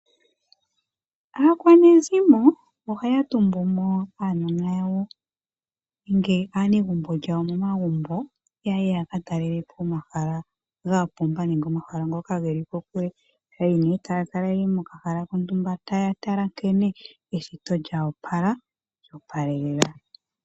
Aakwanezimo ohaya tumbu mo aanona yawo nenge aanegumbo lyawo momagumbo yaye yaka talelepo omahala ga pumba nenge omahala ngoka geli kokule. Yeli mo taya kala yeli mo kahala kontumba taya tala nkene eshito lya wapala lyo palelela .